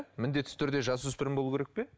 міндетті түрде жасөспірім болуы керек пе